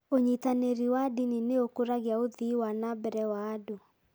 Ũnyitanĩri wa ndini nĩ ũkũragia ũthii wa na mbere wa andũ.